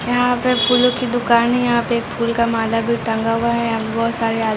यहाँ पे फूलो की दुकान है यहाँ पे एक फूल का माला भी टंगा हुआ है यहाँ बहुत सारे आदमी--